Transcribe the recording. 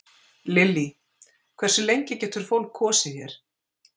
Lillý: Hversu lengi getur fólk kosið hér?